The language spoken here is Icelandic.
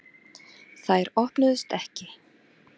Þær opnuðust ekki.